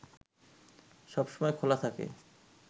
সবসময় খোলা থাকে